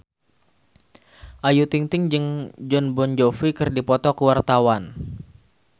Ayu Ting-ting jeung Jon Bon Jovi keur dipoto ku wartawan